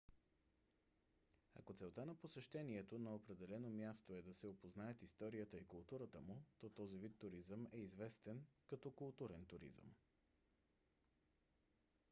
ако целта на посещението на определено място е да се опознаят историята и културата му то този вид туризъм е известен като културен туризъм